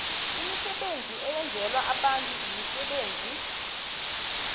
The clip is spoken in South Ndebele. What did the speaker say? imisebenzi eyenzelwa abantuimisebenzi